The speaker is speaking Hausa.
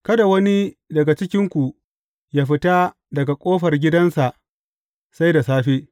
Kada wani daga cikinku yă fita daga ƙofar gidansa sai da safe.